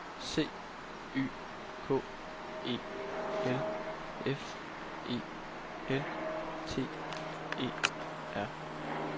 C Y K E L F E L T E R